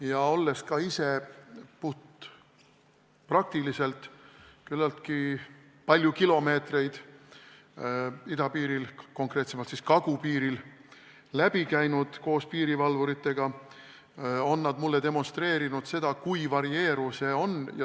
Ma olen ka ise puhtpraktiliselt küllaltki palju kilomeetreid idapiiril, konkreetsemalt kagupiiril koos piirivalvuritega läbi käinud ja nad on mulle demonstreerinud, kui varieeruv see on.